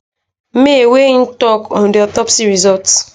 may wia im tok on di autopsy result